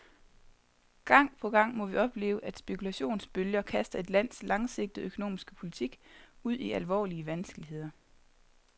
Gang på gang må vi opleve, at spekulationsbølger kaster et lands langsigtede økonomiske politik ud i alvorlige vanskeligheder.